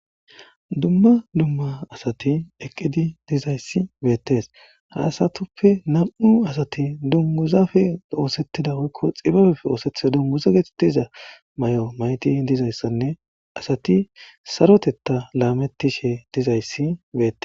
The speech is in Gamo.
dumma dumma asati eqqidi dizayssi beettes ha asatuppe nam7u asati dunmuzafe oosettida woykko xibabefe oosethiza dummuza getettiza may7o mayti dizayssanne asati sarotetta laamettishe dizayssi beettes